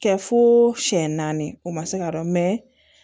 Kɛ fo siyɛn naani o ma se ka dɔn